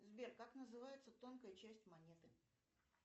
сбер как называется тонкая часть монеты